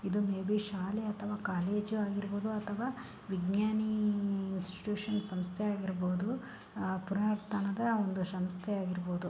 ಇದು ಮೇಬಿ ಶಾಲೆ ಅಥವಾ ಕಾಲೇಜ ಆಗಿರಬಹುದು ಅಥವಾ ವಿಜ್ಞಾನಿ ಇನ್ಸ್ಟಿಟ್ಯೂಟ್ ಸಂಸ್ಥೆಯಾಗಿರಬಹುದು. ಪುರಾತನದ ಒಂದು ಸಂಸ್ಥೆ ಆಗಿರಬಹುದು.